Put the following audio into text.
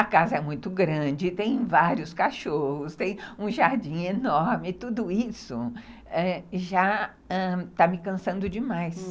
A casa é muito grande, tem vários cachorros, tem um jardim enorme, tudo isso já ãh está me cansando demais.